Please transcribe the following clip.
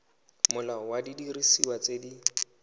molao wa didiriswa tse di